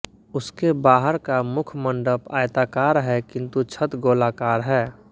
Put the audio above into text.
उसके बाहर का मुखमंडप आयताकार है किन्तु छत गोलाकार है